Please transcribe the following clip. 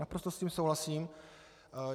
Naprosto s tím souhlasím.